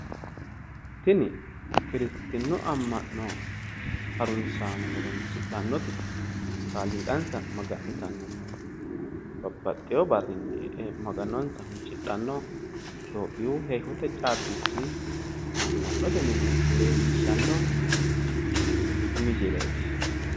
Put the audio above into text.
Tini kiristinnu amma'no harunsaano horoonsidhannoti kaaliiqansa maga'nitannonna babbaxewo barrinni e'e maganonsa huuccidhanno itiyophiyu heeshshote caabbichi amma'note mine leellishshanno misileeti.